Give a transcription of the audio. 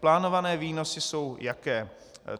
Plánovaný výnosy jsou jaké?